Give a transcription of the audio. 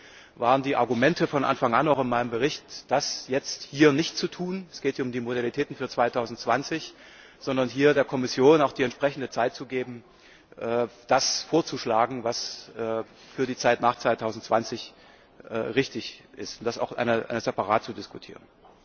Deswegen waren die Argumente von Anfang an auch in meinem Bericht, das jetzt hier nicht zu tun es geht ja um die Modalitäten für 2020 sondern hier der Kommission die entsprechende Zeit zu geben, das vorzuschlagen, was für die Zeit nach 2020 richtig ist, und das auch separat zu diskutieren.